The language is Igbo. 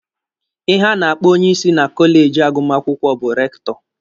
Ihe a na-akpọ onyeisi na kọleji agụmakwụkwọ bụ rektọ.